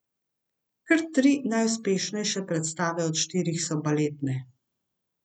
Kar tri najuspešnejše predstave od štirih so baletne.